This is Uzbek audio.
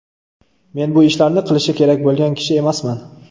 Men bu ishlarni qilishi kerak bo‘lgan kishi emasman.